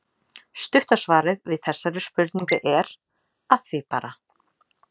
Stutta svarið við þessari spurningu er: Að því bara!